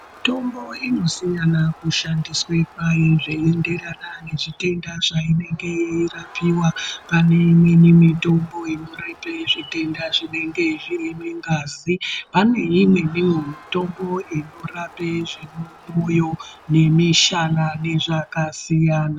Mitombo inosiyana kushandiswa kwayo zveienderana ne zvitenda zvaienenge yeirapiwa paneimwe mitombo inorape zvitenda zvinenge zviri mungazi, paneimweniwo mitombo inorape zvemumoyo, nemishana nezvakasiyana.